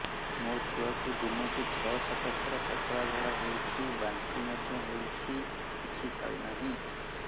ମୋ ଛୁଆକୁ ଦିନକୁ ଛ ସାତ ଥର ପତଳା ଝାଡ଼ା ହେଉଛି ବାନ୍ତି ମଧ୍ୟ ହେଉଛି କିଛି ଖାଉ ନାହିଁ